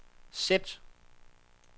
sæt